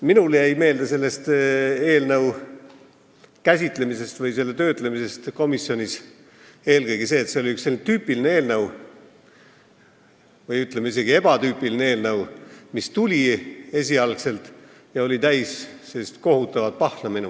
Minule jäi selle eelnõu käsitlemisest komisjonis meelde eelkõige see, et see oli üks tüüpiline või isegi ebatüüpiline eelnõu, mis oli esialgu minu meelest täis kohutavat pahna.